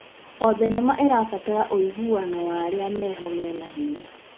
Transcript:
O thenema ĩrabatara ũiguano wa arĩa meho mena hinya.